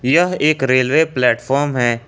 यह एक railway platform है।